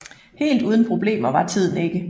Helt uden problemer var tiden ikke